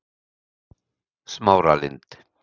Smáralind